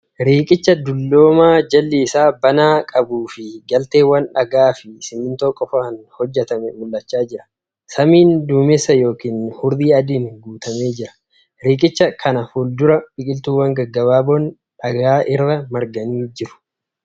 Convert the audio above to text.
Riiqicha dulloomaa jalli isaa banaa qabuu fi galteewwan dhagaa fi simintoon qofa hojjatame mul'achaa jira. Samiin duumeessa yookan hurrii adiin guutamee jira. Riiqicha kan fuuldura biqiltuuwwan gaggabaaboon dhagaa irra marganii jiru.